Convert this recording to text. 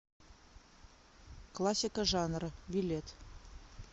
классика жанра билет